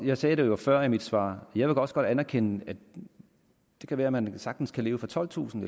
jeg sagde det jo før i mit svar jeg vil også godt anerkende at det kan være at man sagtens kan leve for tolvtusind